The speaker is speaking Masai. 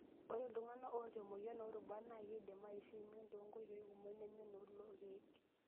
Ore iltungana oota emoyian orubat naa keidim aishu emion too nkoitoi kumok neme noolkeek.